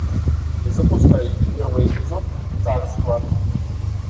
запускай первый эпизод царство